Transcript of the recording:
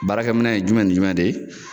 Baarakɛ minɛn ye jumɛn ni jumɛn de ye?